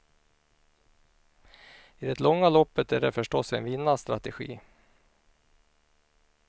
I det långa loppet är det förstås en vinnarstrategi.